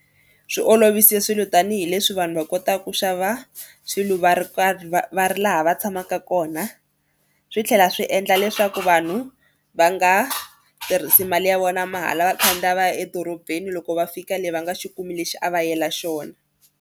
Swi olovise swilo tanihileswi vanhu va kota ku xava swilo va ri karhi va va ri laha va tshamaka kona. Swi tlhela swi endla leswaku vanhu va nga tirhisi mali ya vona mahala va khandziya va ya edorobeni loko va fika le va nga xi kumi lexi a va yela xona.